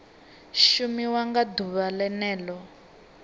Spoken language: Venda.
shumiwa nga ḓuvha o ḽeneo